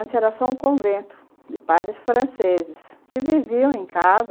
Antes era só um convento de pais franceses, que viviam em casa.